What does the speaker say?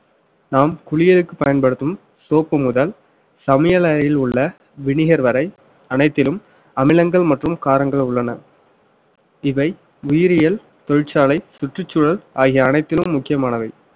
நாம் குளியலுக்கு பயன்படுத்தும் soap முதல் சமையலறையில் உள்ள vinegar வரை அனைத்திலும் அமிலங்கள் மற்றும் காரங்கள் உள்ளன இவை உயிரியல் தொழிற்சாலை சுற்றுச்சூழல் ஆகிய அனைத்திலும் முக்கியமானவை